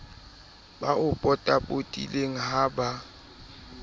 ba o potapotileng ha ba